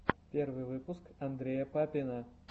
первый выпуск андрея папина